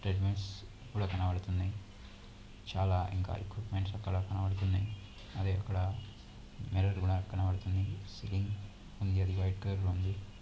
'' Treadmills కూడా కనబడుతున్నాయి. చాలా ఇంకా ఎక్విప్మెంట్స్ అక్కడ కనబడుతున్నాయి. అదే అక్కడ మిర్రర్ కూడా కనబడుతుంది. సీలింగ్ ఉంది అది వైట్ కలర్ లో ఉంది. ''